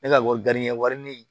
Ne ka wari wari min